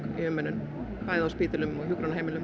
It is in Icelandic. umönnun bæði á spítölum og hjúkrunarheimilum